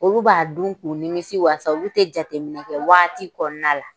Olu b'a dun k'u nimisi wasa olu tɛ jateminɛ kɛ waati kɔnɔna la